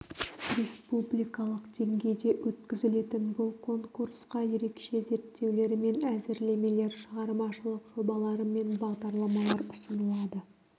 республикалық деңгейде өткізілетін бұл конкурсқа ерекше зерттеулер мен әзірлемелер шығармашылық жобалар мен бағдарламалар ұсынылады